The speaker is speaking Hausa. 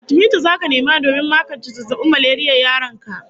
Atimita zaka nema domin makance zazzabin maleriyar yaron ka